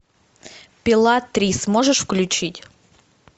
пила три сможешь включить